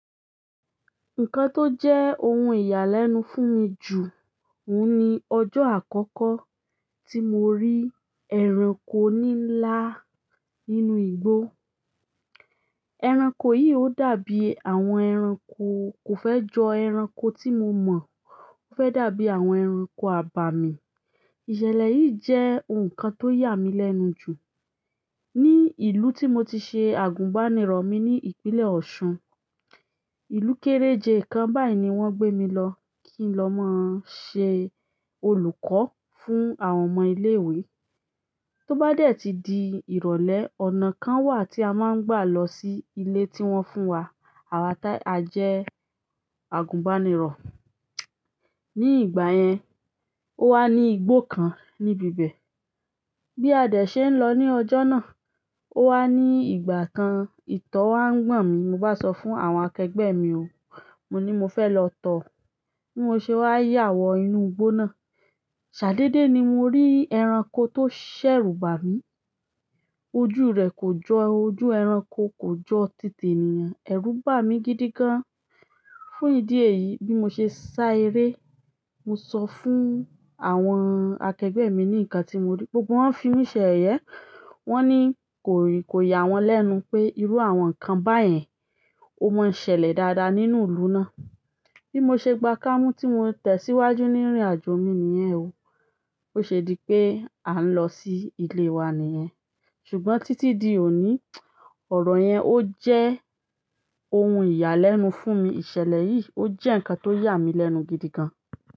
Nǹkan tó jẹ́ ohun ìyàlẹ́nu fún mi jù, òhun ni ọjọ́ àkọ́kọ́ tí mo rí ẹranko nílá nínú igbó. Ẹranko yìí ó dàbí àwọn ẹranko kò fẹ́ jọ ẹranko tí mo mọ̀, ó fẹ́ dàbí àwọn ẹranko àbàmì. Ìṣẹ̀lẹ̀ yìí jẹ́ ohun kan tó yà mí lẹ́nu jù. Ni ìlú tí mo ti ṣe àgùnbánirọ̀ mi ní ìpínlẹ̀ Ọ̀ṣun, ìlú kééréje kan báyìí ni wọ́n gbé mi lọ kí n lọ máa ṣe olùkọ́ fún àwọn ọmọ ilé-ìwé. Tó bá dẹ̀ ti di ìrọ̀lẹ́, ọ̀nà kan wà tí a máa ń gbà lọ sí ilé tí wọ́n fún wa àwa ti a jẹ́ àgùnbánirọ̀. Ni ìgbà yen o wa ni igbó kan nibi bẹ́ẹ̀ bí a dẹ̀ ṣe ń lọ ní ọjọ́ náà, ó wà ní ìgbà kan, ìtọ̀ wá ń gbọ̀n mi. Mo bá sọ fún àwọn akẹgbẹ́ mi o, mo ní mo fẹ́ lọ tọ̀. Bí mo ṣe wá yà wọ inú igbó náà, ṣàdédé ni mo rí ẹranko tó ṣẹ̀rùbà mi, ojú rẹ kò jọ, ojú ẹranko kò jọ títè ènìyàn. Ẹrú bà mí gidi gan. Fún ìdí èyí bí mo ṣe sá eré. Mo sọ fún àwọn akẹgbẹ́ mi ní ǹkan tí mo rí, gbogbo wọn fi mí ṣẹ̀ yẹyẹ. Wọ́n ní kò yà wọ́n lẹ́nu pé irú àwọn ǹkan báyẹn ó máa ń ṣẹlẹ̀ dáadáa nínú ìlú náà. Bí mo ṣe gba ká mú tí mo tẹ̀síwájú ní ìrìnàjò mi nìyẹn o, ó ṣe dí pé à ń lọ sí ilé wa nìyẹn. Ṣùgbọ́n títí di òní, ọ̀rọ̀ yẹn ó jẹ́ ohun ìyàlẹ́nu fún mi. Ìṣẹ̀lẹ̀ yìí ó jẹ́ ǹkan tó yà mí lẹ́nu gidi gan.